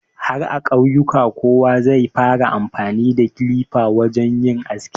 Har a ƙauyuka kowa zai fara amfani da kilifa wurin yin aski.